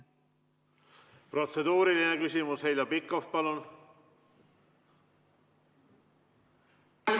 Protseduuriline küsimus Heljo Pikhof, palun!